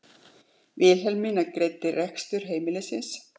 Vilhelmína greiddi rekstur heimilisins.